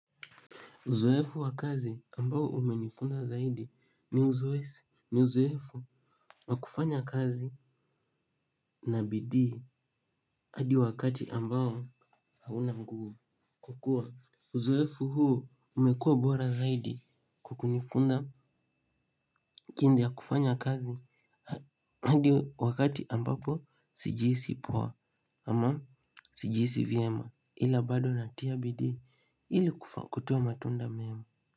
Uzoefu wa kazi ambao umenifunza zaidi ni uzoefu wa kufanya kazi na bidii hadi wakati ambao hauna nguvu kukuwa. Uzoefu huu umekuwa bora zaidi kwa kunifunza jinsi ya kufanya kazi hadi wakati ambapo sijihisi poa ama sijihisi vyema ila bado natia bidii ili kutoa matunda mema.